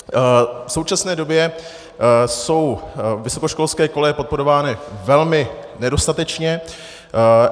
V současné době jsou vysokoškolské koleje podporovány velmi nedostatečně.